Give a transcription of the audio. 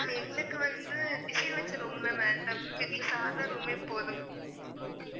ma'am எங்களுக்கு வந்து design வச்ச room லா வேண்டாம் ma'am எங்களுக்கு சாதா room மே போதும்